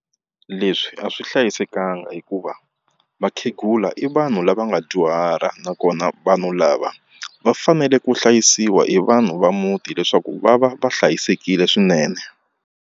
Leswi a swi hlayisekanga hikuva vakhegula i vanhu lava nga dyuhala nakona vanhu lava va fanele ku hlayisiwa hi vanhu va muti leswaku va va va hlayisekile swinene.